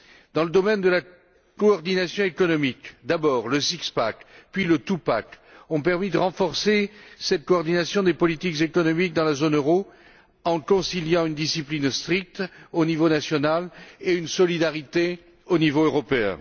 Dans le domaine de la coordination économique, d'abord le six pack puis le two pack ont permis de renforcer cette coordination des politiques économiques dans la zone euro en conciliant une discipline stricte au niveau national et une solidarité au niveau européen.